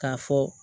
K'a fɔ